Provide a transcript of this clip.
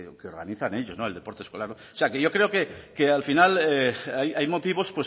que organizan ellos el deporte escolar o sea que yo creo que al final hay motivos